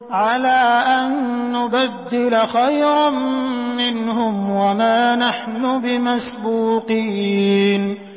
عَلَىٰ أَن نُّبَدِّلَ خَيْرًا مِّنْهُمْ وَمَا نَحْنُ بِمَسْبُوقِينَ